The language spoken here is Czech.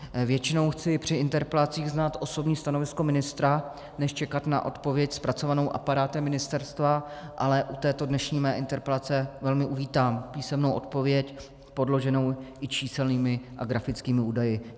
Většinou chci při interpelacích znát osobní stanovisko ministra než čekat na odpověď zpracovanou aparátem ministerstva, ale u této dnešní mé interpelace velmi uvítám písemnou odpověď podloženou i číselnými a grafickými údaji.